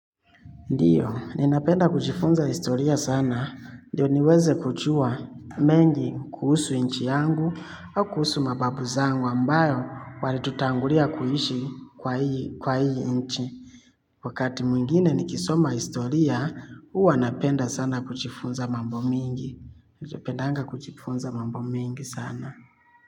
Ndiyo, ninapenda kujifunza historia sana. Ndio niweze kuchua mengi, kuhusu inchi yangu au kuhusu mababu zangu ambayo wali tutangulia kuishi, kwa hii inchi. Wakati mwingine nikisoma historia, uwa napenda sana kuchifunza mambo mingi. Ndiyo, pendanga kuchifunza mambo mengi sana.